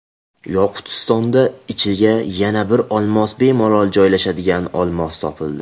Yoqutistonda ichiga yana bir olmos bemalol joylashadigan olmos topildi .